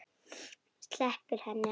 Sleppir henni ekki.